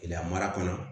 Gɛlɛya mara kɔnɔ